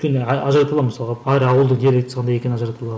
өйткені ажырата аламын мысалға ауылдың диалектісі қандай екенін ажырата аламын